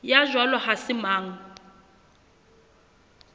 ya jwalo ha se mang